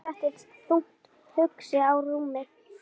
Emil settist þungt hugsi á rúmið.